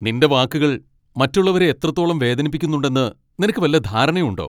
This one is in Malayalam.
നിൻ്റെ വാക്കുകൾ മറ്റുള്ളവരെ എത്രത്തോളം വേദനിപ്പിക്കുന്നുണ്ടെന്ന് നിനക്ക് വല്ല ധാരണയും ഉണ്ടോ?